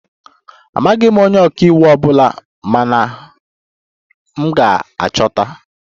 Amaghị m onye ọka iwu ọ bụla mana m ga-achọpụta